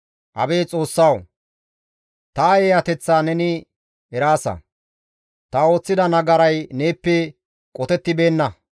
Abeet Xoossawu! Ta eeyateththa neni eraasa; ta ooththida nagaray neeppe qotettibeenna.